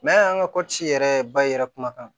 an ka kɔti yɛrɛ bayɛlɛ kumakan